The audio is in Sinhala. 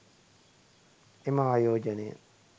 එම ආයෝජනය